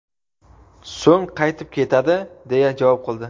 so‘ng qaytib ketadi deya javob qildi.